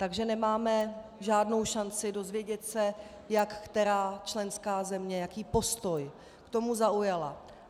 Takže nemáme žádnou šanci dozvědět se, jak která členská země, jaký postoj k tomu zaujala.